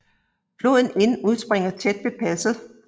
Floden Inn udspringer tæt ved passet